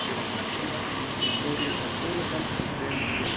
Þegar ég var þrettán ára fór ég á skólaball með þremur félögum.